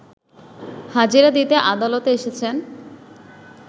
হাজিরা দিতে আদালতে এসেছেন